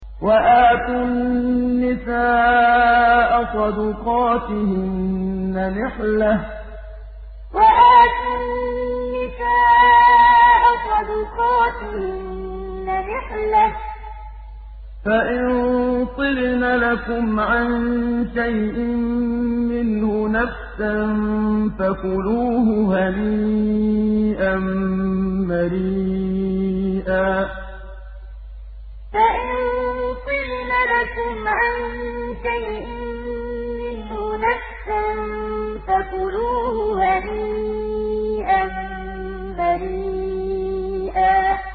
وَآتُوا النِّسَاءَ صَدُقَاتِهِنَّ نِحْلَةً ۚ فَإِن طِبْنَ لَكُمْ عَن شَيْءٍ مِّنْهُ نَفْسًا فَكُلُوهُ هَنِيئًا مَّرِيئًا وَآتُوا النِّسَاءَ صَدُقَاتِهِنَّ نِحْلَةً ۚ فَإِن طِبْنَ لَكُمْ عَن شَيْءٍ مِّنْهُ نَفْسًا فَكُلُوهُ هَنِيئًا مَّرِيئًا